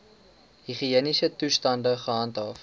higiëniese toestande gehandhaaf